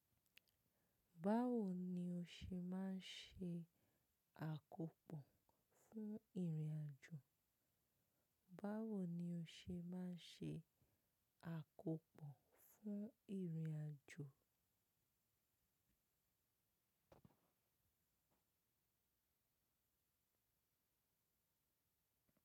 Báwo ni o ṣe máa ń ṣe àkópò fún ìrìnàjò? Àkópò fún ìrìnàjò?